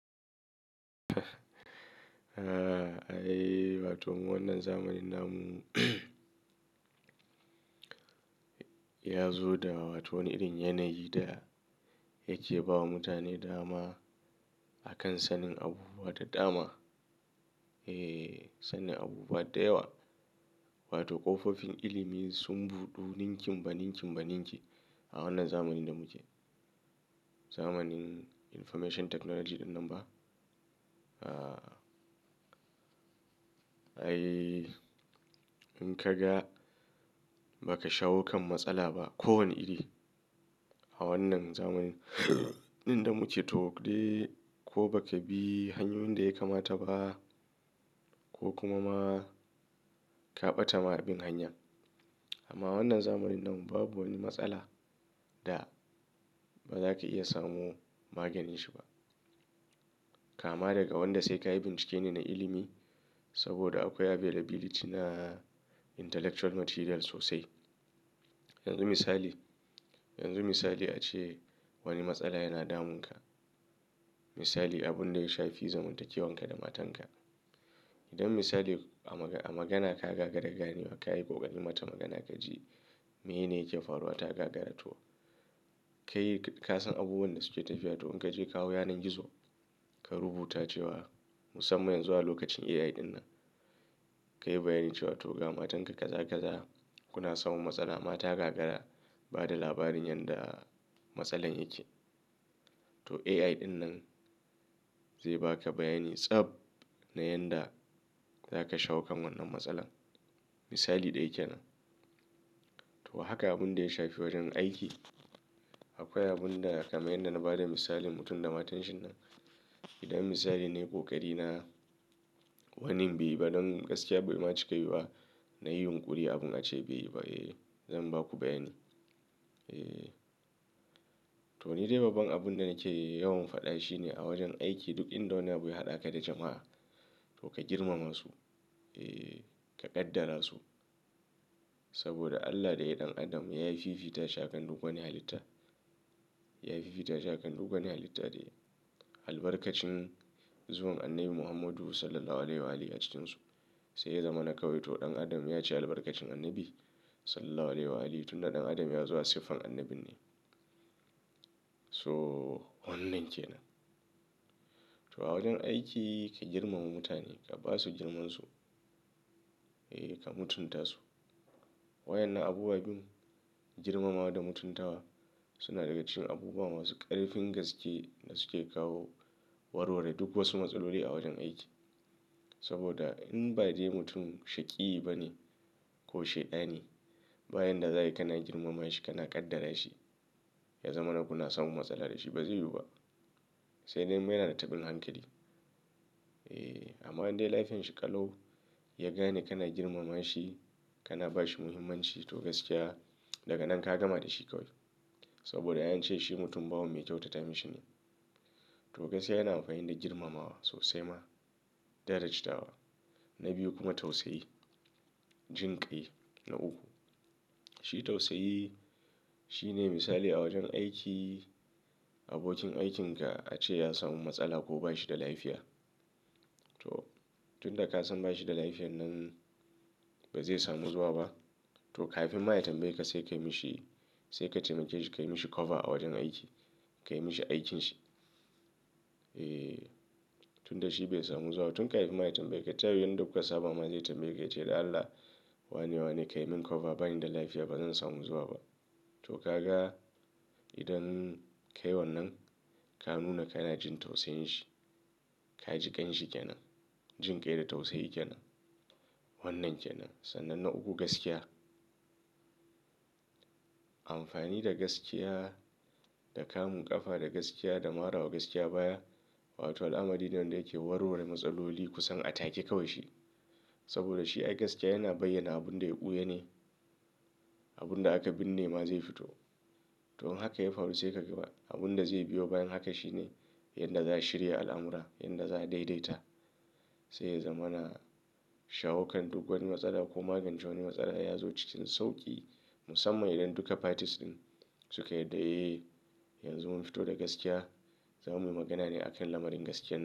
Eh, ai wato wannan zamanin nan mu ya zo da wata wani irin yanayi da yake bawa mutane dama akan sanin abubuwa da dama. Eh, sanin abubuwa da yawa wato ƙofofin ilimin sun buɗu ninki mbaninki mbaninki a wannan zamanin da muke. Zamanin Information Technology ɗin nan ba. Ah, ai in ka ga ba ka shawo kan matsala ba kowane iri a wannan zamanin ɗin da muke to dai ko ba ka bi hanyoyin da ya kamata ba ko kuma ma ka ɓata ma abin hanya. Amma wannan zamanin nan babu wani matsala da ba za ka iya samu maganin shi ba. Kama daga wanda sai ka yi bincike ne na ilimi saboda akwai availability na intellectual material sosai. Yanzu misali, yanzu misali ace wani matsala yana damunka. Misali abun da ya shafi zamantakewanka da matanka. Idan misali a magana ka gagara ganewa ka yi ƙoƙari mata magana ka ji me ne yake faruwa ta gagara to ka yi, ka san abubuwan da suke tafiya. To in ka je ka hau yanar gizo ka rubuta cewa musamman yanzu a lokacin AI ɗin nan ka yi bayani cewa to ga matanka kazakaza kuna samun matsala mata gagara ba da labarin yadda matsalan yake. To AI ɗin nan zai ba ka bayani tsab na yanda za ka shawo kan wannan matsala. Misali ɗaya ke nan. To haka abun da ya shafi wajen aiki. Akwai abun da kamar yanda na ba da misalin mutum da matan shi nan. Idan misali na yi ƙoƙari na wani bai ba don gaskiya baima ci kai ba na yi yunƙuri abun a ce bai ba. Eh, zan ba ku bayani. Eh, to ni dai babban abun da nake yawan faɗa shi ne a wajen aiki duk inda wani abu ya haɗa ka da jama'a to ka girmama su. Eh, ka kaddara su. Saboda Allah da ya yi ɗan Adam ya yi fifita shi akan duk wani halitta. Ya yi fifita shi akan duk wani halitta dai. Albarkacin zuwan Annabi Muhammadu Sallallahu Alaihi Wasallam a cikinsu sai ya zama na kawai to ɗan Adam ya ci albarkacin Annabi Sallallahu Alaihi Wasallam tun da ɗan Adam ya zama siffar Annabi ne. So wannan ke nan. To a wajen aiki ka girmama mutane ka ba su girmansu. Eh, ka mutunta su. Wa yana abubuwa biyun girmamawa da mutuntawa suna daga cikin abubuwa masu ƙarfin gaske da suke kawo warware duk wasu matsaloli a wajen aiki. Saboda in ba dai mutum shaƙiyi ba ne ko shaida ne bayan da za ka yi kana girmama shi kana kaddara shi ya zama na kuna samun matsala da shi ba zai yiwu ba. Sai dai mana da tabin hankali. Eh, amma dai lafiyan shi ƙalau ya gane kana girmama shi kana ba shi muhimmanci to gaskiya daga nan ka gama da shi kawai. Saboda ya yi ce shi mutum bawon mai kyautata mashi ne. To gaskiya yana amfani da girmamawa sosai ma da tace tawa na biyu kuma tausayi. Jinƙai na uku. Shi tausayi shi ne misali a wajen aiki abokin aikinka a ce ya samu matsala ko ba shi da lafiya. To tun da ka san ba shi da lafiya nan ba zai samu zuwa ba to kafinma ya tambayeka sai ka yi mashi sai ka taimake shi ka yi mashi cover a wajen aiki. Ka yi mashi aikinsa. Eh, tun da shi bai samu zuwa tun kafin ma ya tanbayeka tayu yanda kuka saba ma zai tambaye ka ce da Allah wane wa ne ka yi min cover bani da lafiya ba zan samu zuwa ba. To ka ga idan ka yi wannan ka nuna ka na jin tausayin shi. Ka ji ƙan shi ƙenan. Jinƙai da tausayi ƙyanan. Wannan ƙenan. Sannan na uku gaskiya. Amfani da gaskiya da kamu ƙafa da gaskiya da marawa gaskiya baya. Wato al'amari ne wanda yake warware matsaloli kusan a take kawai shi. Saboda shi ai gaskiya yana bayyana abun da ya ɓuya ne. Abun da aka binne ma zai fito. To in haka ya faru sai ka gaba abun da zai biyo bayan haka shi ne yanda za su shirya al'amura yanda za su daidaita. Sai ya zama na shawo kan duk wani matsala ko magance wani matsala ya zo cikin sauƙi musamman idan duka parties ɗin suka yarda eh yanzu mun fito da gaskiya za mu yi magana ne a kan lamarin gaskiyar nan.